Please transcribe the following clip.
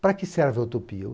Para que serve a utopia?